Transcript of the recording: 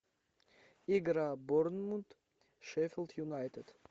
игра борнмут шеффилд юнайтед